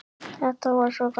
Þetta var svo gaman.